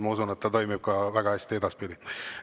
Ma usun, et ta toimib väga hästi ka edaspidi.